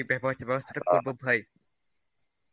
ব্যাপার ট্যাপার | ভাই.